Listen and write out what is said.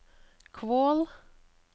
Kvål